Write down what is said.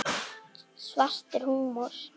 Svartur húmor.